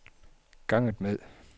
ganget med